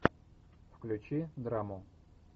включи драму